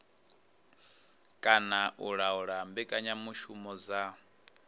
kana u laula mbekanyamushumo dza